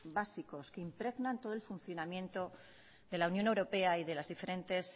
básicos que impregnan todo el funcionamiento de la unión europea y de las diferentes